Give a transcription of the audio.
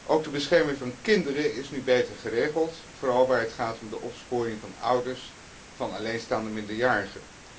Ook de bescherming van kinderen is nu beter geregeld, vooral waar het gaat om de opsporing van ouders van alleenstaande minderjarigen.